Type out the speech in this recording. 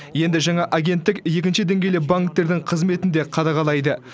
енді жаңа агенттік екінші деңгейлі банктердің қызметін де қадағалайды